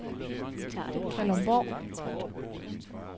Kalundborg